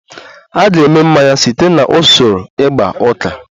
A ga-eme mmanya site na usoro igba uka